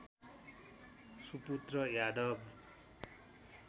सुपुत्र यादव